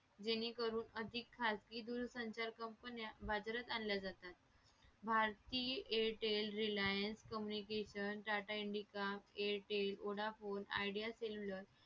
जेणेकरून अधिक खाजगी दूरसंचा company बाजारात आणल्या जातात भारतीय airtel reliance communication tata indica airtel vodafone idea cellular